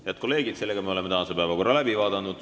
Head kolleegid, me oleme tänase päevakorra läbi vaadanud.